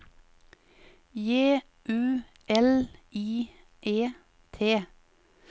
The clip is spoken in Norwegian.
J U L I E T